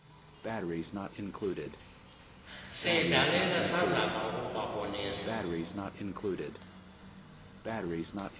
siyidlalile sazama ukubabonisa